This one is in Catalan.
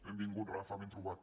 benvingut rafa ben trobat